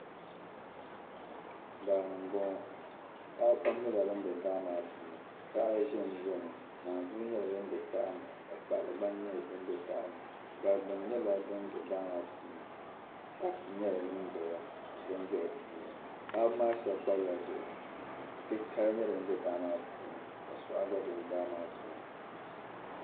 Daa ni m-bɔŋɔ paɣiba pam nyɛla bam be daa maa puuni taha zanzami naanzua nyɛla dim be taha ni ka kpaɣila gba nyɛ dim be taha ni. Gbarigbuni nyɛla dim be daa maa puuni. saaki nyɛla din dɔya ka bini be di puuni. Paɣiba maa shɛba kpabila bihi ti' titali n-nyɛ din za daa maa puuni ka suɣa gba be daa maa puuni.